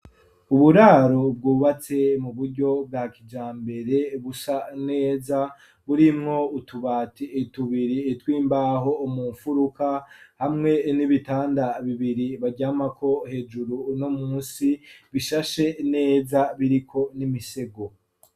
Uburaro bwubatse mu buryo bwa kija mbere busa neza burimwo utubate etubiri twimbaho umumfuruka hamwe n'ibitanda bibiri baryamako hejuru no musi bishashe neza biriko n'imisego.